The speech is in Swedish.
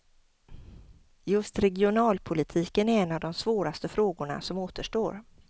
Just regionalpolitiken är en av de svåraste frågorna som återstår.